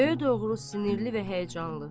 Göylərə doğru sinirli və həyəcanlı.